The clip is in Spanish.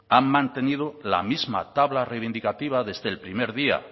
han mantenido la misma tabla reivindicativa desde el primer día